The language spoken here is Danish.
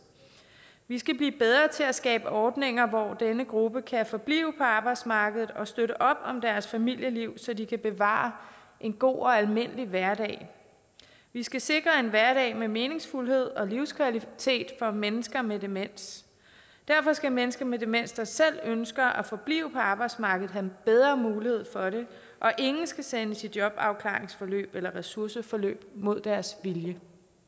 vi skal blive bedre til at skabe ordninger hvor denne gruppe kan forblive på arbejdsmarkedet og støtte op om deres familieliv så de kan bevare en god og almindelig hverdag vi skal sikre en hverdag med meningsfuldhed og livskvalitet for mennesker med demens derfor skal mennesker med demens der selv ønsker at forblive på arbejdsmarkedet have bedre mulighed for det og ingen skal sendes i jobafklaringsforløb eller ressourceforløb mod deres vilje